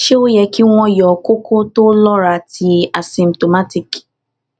se o ye ki won yo koko to lora ti asymptomatic